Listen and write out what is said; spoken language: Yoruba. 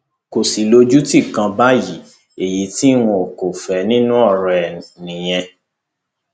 kò sì lójútì kan báyìí èyí tí n kò fẹ nínú ọrọ ẹ nìyẹn